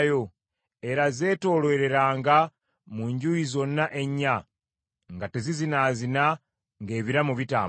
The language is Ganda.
Era zeetoolooleranga mu njuyi zonna ennya, nga tezizinaazina ng’ebiramu bitambula.